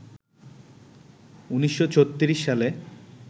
১৯৩৬ সালে